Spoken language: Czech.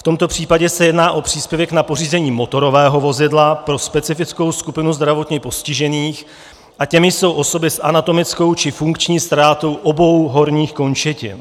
V tomto případě se jedná o příspěvek na pořízení motorového vozidla pro specifickou skupinu zdravotně postižených a těmi jsou osoby s anatomickou či funkční ztrátou obou horních končetin.